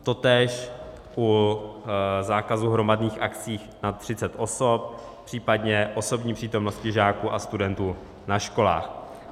Totéž u zákazu hromadných akcí nad 30 osob, případně osobní přítomnosti žáků a studentů na školách.